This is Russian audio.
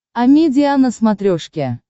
амедиа на смотрешке